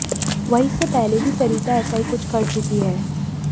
वहीं इससे पहले भी सरिता ऐसा ही कुछ कर चुकी हैं